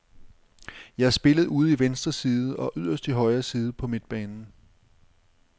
Jeg har spillet ude i venstre side og yderst i højre side på midtbanen.